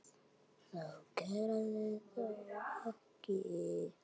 Það gerðist þó ekki.